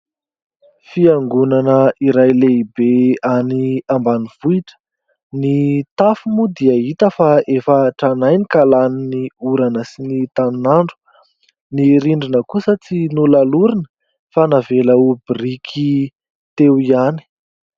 Fiangonana iray lehibe any ambanivohitra. Ny tafo moa dia hita fa efa tranainy ka lanin'ny orana sy ny tanin'andro. Ny rindrina kosa tsy nolalorina fa navela ho biriky teo ihany.